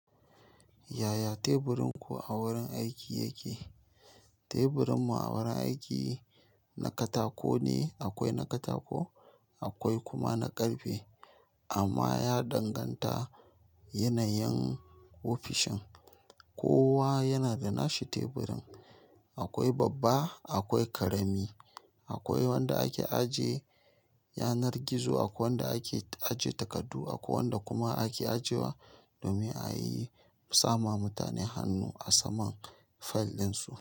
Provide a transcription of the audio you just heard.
Yaya teburinku a wurin aiki yake? Teburinmu a wurin aiki na katako ne. Akwai na katako akwai kuma na ƙarfe. Amma ya danganta yanayin ofishin. Kowa yana da nashi teburin. Akwai babba, akwai ƙarami, akwai wanda ake ajiye yanar gizo, akwai wanda ake ajiye takardu, akwai wanda kuma ake ajewa domin a yi sama mutane hannu a saman file ɗinsu.